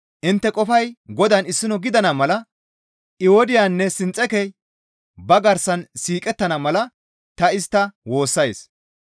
Intte qofay Godaan issino gidana mala Ewodiyanne Sinxekey ba garsan siiqettana mala ta istta woossays.